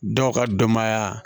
Dɔw ka denbaya